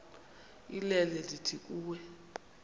inene ndithi kuwe